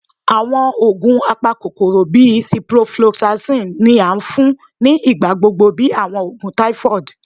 Awọn oogun apakokoro bii ciprofloxacin ni a fun ni igbagbogbo bi awọn oogun typhoid